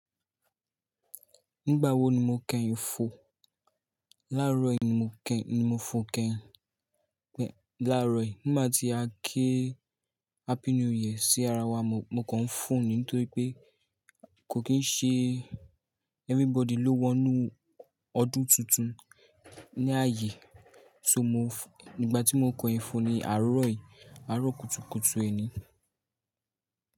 Nígbà wo ni mo kẹ́yìn fò? Láàárọ̀ yìí ni mo kẹ́, ni mo fò kẹ́yìn. Láàárọ̀ yìí. Nígbà tí a kí happy new year sí ara wa, mo, mo kàn ń fò ni nítorí pé kò kí ń ṣe everybody ló wọnú ọdún tuntun ní ààyè. So mo f-- nígbà tí mo kọ ẹ fò ni àárọ̀ yìí, àárọ̀ kùtùkùtù ẹni.